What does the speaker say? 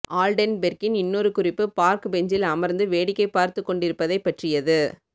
ஆல்டென்பெர்க்கின் இன்னொரு குறிப்பு பார்க் பெஞ்சில் அமர்ந்து வேடிக்கை பார்த்துக் கொண்டிருப்பதைப் பற்றியது